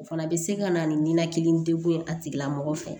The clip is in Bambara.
O fana bɛ se ka na ni ninakili degun ye a tigilamɔgɔ fɛ